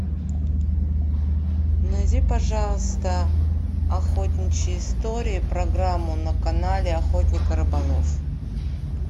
найди пожалуйста охотничьи истории программу на канале охотник и рыболов